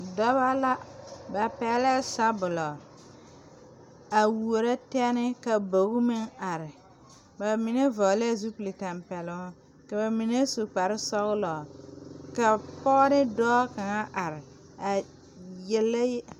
Dɔbɔ la ba pɛglɛɛ sɔbulɔ a wuoro tɛne ka bogi meŋ are ba mine vɔglɛɛ zupil tampɛloŋ ka ba mine su kparesɔglɔ ka pɔɔ ne dɔɔ kaŋa are a yele yɛl.